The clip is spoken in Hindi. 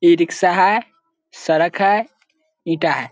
इ रिक्शा है सड़क है ईटा है।